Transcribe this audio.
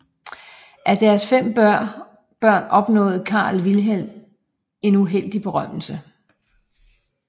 Af deres 5 børn opnåede sønnen Karl Wilhelm en uheldig berømmelse